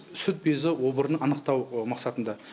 сүт безі обырын анықтау мақсатында